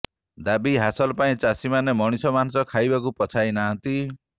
ଦାବି ହାସଲ ପାଇଁ ଚାଷୀମାନେ ମଣିଷ ମାଂସ ଖାଇବାକୁ ପଛାଇ ନାହାନ୍ତି